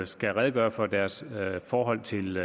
skal redegøre for deres forhold til